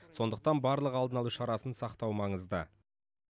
сондықтан барлық алдын алу шарасын сақтау маңызды